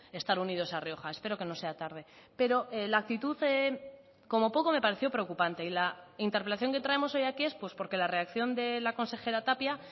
estar unidos a rioja espero que no sea tarde pero la actitud como poco me pareció preocupante y la interpelación que traemos hoy aquí es pues porque la reacción de la consejera tapia